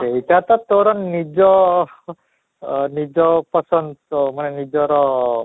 ସେଇଟା ତ ତୋର ଅଃ ନିଜ ପସନ୍ଦ ମାନେ ନିଜର